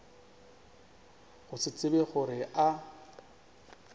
go se tsebe gore a